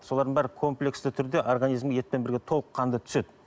солардың бәрі комплексті түрде организмге етпен бірге толыққанды түседі